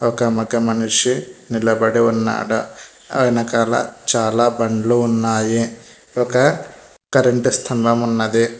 ఒక మగ మనిషి నిలబడి ఉన్నాడు వెనకాల చాలా బండ్లు ఉన్నాయి ఒక కరెంట్ స్థంభం ఉన్నది.